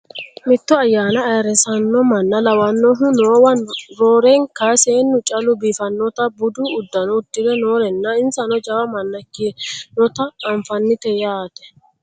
mitto ayyaana ayeerrisanno manna lawannohu noowa roorenka seennu callu biiffannota budu uddano uddire noorenna insano jawa manna ikkinota anafannite yaate